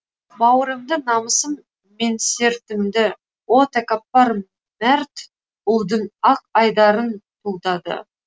бауырымды намысым менсертімді о тәкаппар мәрт ұлдың ақ айдарын тұлдады